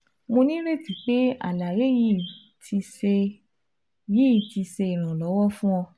Mo nireti pe alaye yii ti ṣe yii ti ṣe iranlọwọ fun ọ